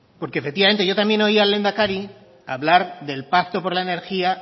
porque efectivamente yo también oí al lehendakari hablar del pacto por la energía